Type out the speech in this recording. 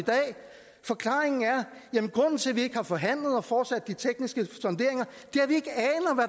forklaringen at vi ikke har forhandlet og fortsat de tekniske sonderinger